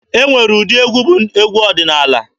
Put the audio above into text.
E nwere egwu ndị bụ egwu ọdịnaala.